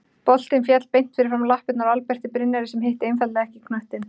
Boltinn féll beint fyrir framan lappirnar á Alberti Brynjari sem hitti einfaldlega ekki knöttinn.